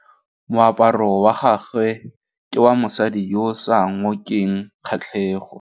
Moaparô wa gagwe ke wa mosadi yo o sa ngôkeng kgatlhegô.